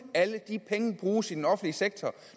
alle de penge bruges i den offentlige sektor